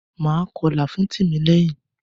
Máa kọlà fún Tìmílẹ́yìn.